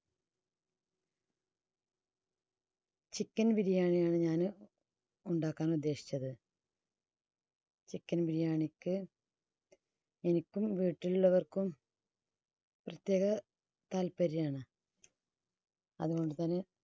chicken biriyani യാണ് ഞാൻ ഉണ്ടാക്കാൻ ഉദ്ദേശിച്ചത്. chicken biriyani ക്ക് എനിക്കും വീട്ടിലുള്ളവർക്കും പ്രത്യേക താല്പര്യാണ്. അതുകൊണ്ട് തന്നെ